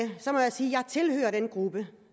sige at jeg tilhører den gruppe